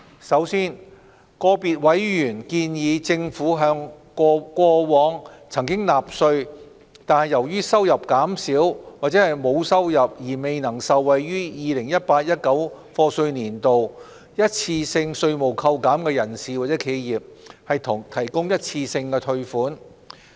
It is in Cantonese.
首先，個別委員建議政府向過往曾納稅但由於收入減少或沒有收入而未能受惠於 2018-2019 課稅年度一次性稅務扣減的人士或企業，提供一次性退稅。